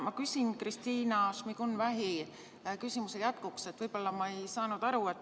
Ma küsin Kristina Šmigun-Vähi küsimuse jätkuks, võib-olla ma ei saanud aru.